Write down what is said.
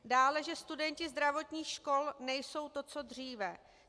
Dále, že studenti zdravotních škol nejsou to, co dříve.